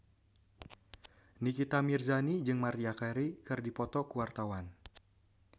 Nikita Mirzani jeung Maria Carey keur dipoto ku wartawan